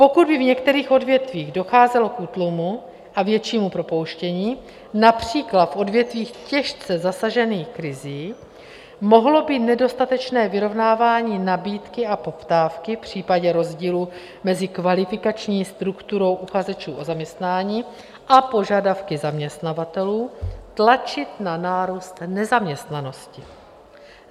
Pokud by v některých odvětvích docházelo k útlumu a většímu propouštění, například v odvětvích těžce zasažených krizí, mohlo by nedostatečné vyrovnávání nabídky a poptávky v případě rozdílu mezi kvalifikační strukturou uchazečů o zaměstnání a požadavky zaměstnavatelů, tlačit na nárůst nezaměstnanosti.